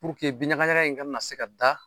Puruke bin ɲaga ɲaga in kana na se ka da.